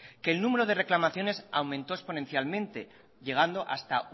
que el número de reclamaciones aumentó exponencialmente llegando hasta